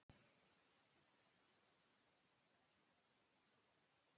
Syngur Sá ég spóa fullum hálsi.